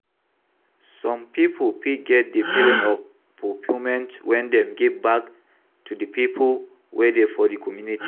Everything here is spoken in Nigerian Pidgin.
Some pipo fit get di feeling of fulfillment when dem give back to di people wey dey for di community